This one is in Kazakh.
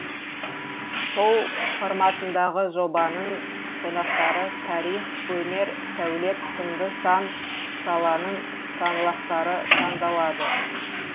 шоу форматындағы жобаның қонақтары тарих өнер сәулет сынды сан саланың саңлақтары таңдалады